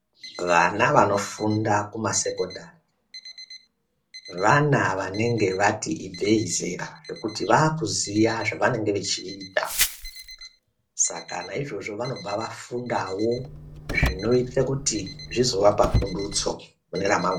Vana vanofunda kumasekondari vana vanenge vati ibveyi zera ngekuti vakuziva zvavanenge veida Saka naizvozvo vanobva vafundawo zvinoita kuti zvizovapa pundutso mune ramangwana.